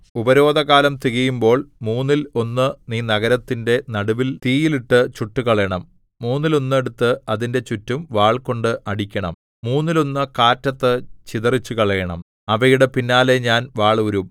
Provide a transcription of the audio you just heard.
ഉപരോധകാലം തികയുമ്പോൾ മൂന്നിൽ ഒന്ന് നീ നഗരത്തിന്റെ നടുവിൽ തീയിൽ ഇട്ടു ചുട്ടുകളയണം മൂന്നിൽ ഒന്ന് എടുത്ത് അതിന്റെ ചുറ്റും വാൾകൊണ്ട് അടിക്കണം മൂന്നിൽ ഒന്ന് കാറ്റത്ത് ചിതറിച്ചുകളയണം അവയുടെ പിന്നാലെ ഞാൻ വാളൂരും